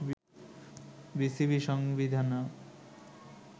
বিসিবির সংবিধানেও